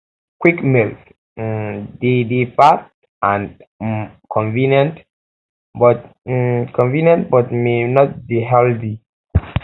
quick meals um de dey fast and um convenient but um convenient but may not dey healthy um